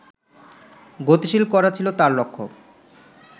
গতিশীল করা ছিল তাঁর লক্ষ্য